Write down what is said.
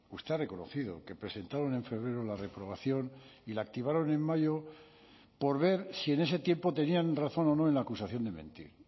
usted ha reconocido que presentaron en febrero la reprobación y la activaron en mayo por ver si en ese tiempo tenían razón o no en la acusación de mentir